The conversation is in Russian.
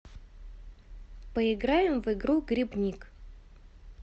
поиграем в игру грибник